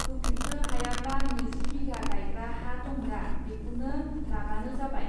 होफित्रो हायाब्ला नैजि बिधा गाइग्रा हा दंदा, बेखौनो लाबानो जाबाय।